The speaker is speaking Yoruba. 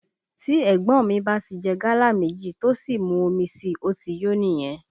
Tí ẹ̀gbọ́n ọ́n mi bá tí jẹ gálà méjì tó sì mú omi síi, ó ti yó nìyẹn